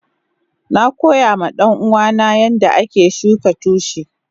Na koya ma danuwa na yanda ake shuka tushi.